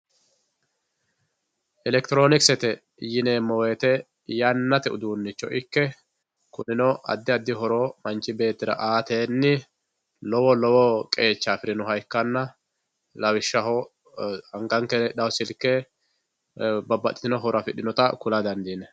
elektiroonikisete yineemo woyeete yannate uduunicho ikkekunino addi addi horo manch beettira aatenni lawo lowo qeecha afirinoha ikkanna lawishshaho anganke heehao silke babbaxitino horo afidhinota kula dandiinay.